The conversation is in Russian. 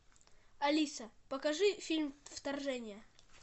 алиса покажи фильм вторжение